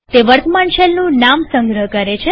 તે વર્તમાન શેલનું નામ સંગ્રહ કરે છે